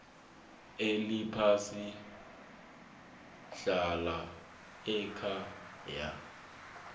eliphasi hlala ekhaya